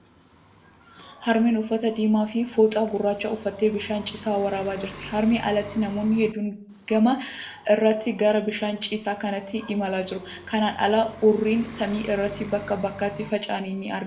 Harmeen uffata diimaa fi fooxaa gurraacha uffatte bishaan ciisaa waraabaa jirti. Harmeen alatti namoonni hedduun gama irrratti kara bishaan ciisaa kanaatti imalaa jiru. Kanaan ala, Urriin samii irratti bakka bakkatti faffaca'ee ni argama.